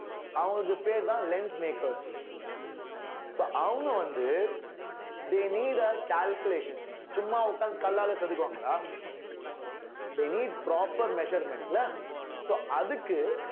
அவங்களுக்கு பேர்தான் lens makers so அவங்க வந்து they need a calculation சும்மா உட்கார்ந்து கல்லால செதுக்குவாங்களா they need proper measurement ல so அதுக்கு